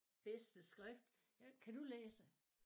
Bedste skrift jeg kan du læse?